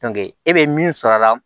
e bɛ min sɔrɔ a la